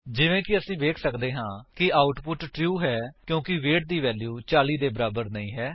ਜਿਵੇਂ ਕਿ ਅਸੀ ਵੇਖ ਸੱਕਦੇ ਹਾਂ ਕਿ ਆਉਟਪੁਟ ਟਰੂ ਹੈ ਕਿਉਂਕਿ ਵੇਟ ਦੀ ਵੈਲਿਊ 40 ਦੇ ਬਰਾਬਰ ਨਹੀਂ ਹੈ